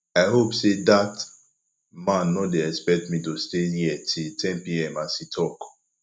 i hope say dat man no dey expect me to stay here till ten pm as he talk